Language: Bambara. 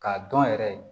K'a dɔn yɛrɛ